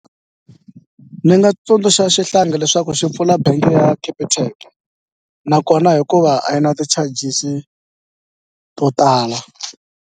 Ni nga tsundzuxa xihlangi leswaku xi pfula bengi ya Capitec nakona hikuva a yi na ti-charges to tala.